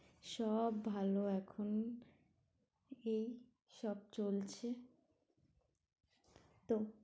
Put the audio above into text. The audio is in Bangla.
সব ভালো এখন, এই সব চলছে তো